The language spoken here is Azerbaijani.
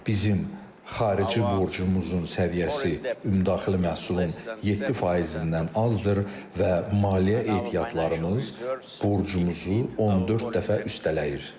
Bizim xarici borcumuzun səviyyəsi ümumdaxili məhsulun 7 faizindən azdır və maliyyə ehtiyatlarımız borcumuzu 14 dəfə üstələyir.